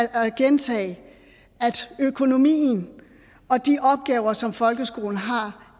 at gentage at økonomien og de opgaver som folkeskolen har